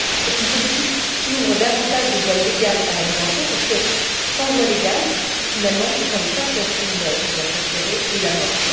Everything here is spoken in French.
C'est une politique qui ouvre davantage de voies légales à la migration, parce que sans voie légale, finalement, ce sont les passeurs criminels qui vont prospérer et la mort